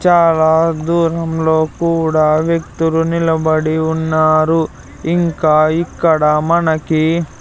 చాలా దూరంలో కూడా వ్యక్తులు నిలబడి ఉన్నారు ఇంకా ఇక్కడ మనకి--